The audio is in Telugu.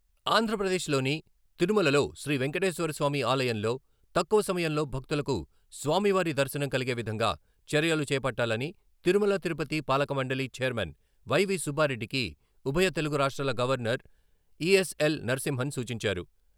ఆంధ్రప్రదేశ్లోని తిరుమలలో శ్రీ వెంకటేశ్వరస్వామి ఆలయంలో తక్కువ సమయంలో భక్తులకు స్వామివారి దర్శనం కలిగే విధంగా చర్యలు చేపట్టాలని తిరుమల తిరుపతి పాలకమండలి ఛైర్మన్ వై. వి. సుబ్బారెడ్డికి ఉభయ తెలుగు రాష్ట్రాల గవర్నర్ ఇ.ఎస్.ఎల్.నరసింహన్ సూచించారు.